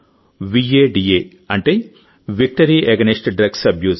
వాడా అంటే victory against drugs abuse